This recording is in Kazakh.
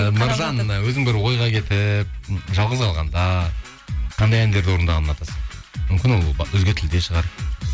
і нұржан өзің бір ойға кетіп жалғыз қалғанда қандай әндерді орындағанды ұнатасың мүмкін ол өзге тілде шығар